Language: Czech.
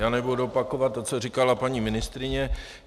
Já nebudu opakovat to, co říkala paní ministryně.